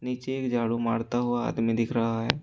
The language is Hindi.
नीचे एक झाड़ू मारता हुआ आदमी दिख रहा है।